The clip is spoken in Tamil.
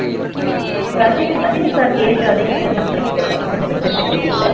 ரஜினி sir க்கு age அதிகம்னு தான் நினைக்கிறேன் எனக்கு சரியா தெரியல